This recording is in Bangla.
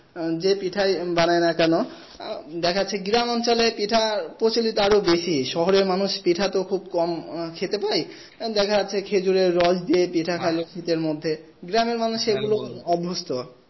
উম যে পিঠাই বানাই না কেন? দেখাচ্ছে গ্রামাঞ্চলে পিঠা প্রচলিত আরো বেশি শহরের মানুষ পিঠা তো খুব কম খেতে পায় দেখা যাচ্ছে খেজুরের রস দিয়ে পিঠা খাইলে পিঠার মধ্যে গ্রামের মানুষ এগুলোতে অভ্যস্ত